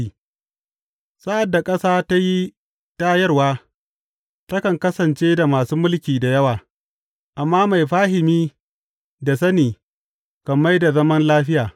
Sa’ad da ƙasa ta yi tayarwa, takan kasance da masu mulki da yawa, amma mai fahimi da sani kan mai da zaman lafiya.